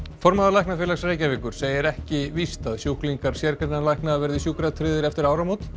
formaður Læknafélags Reykjavíkur segir ekki víst að sjúklingar sérgreinalækna verði sjúkratryggðir eftir áramót